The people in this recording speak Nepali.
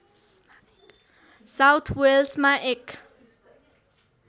साउथ वेल्समा एक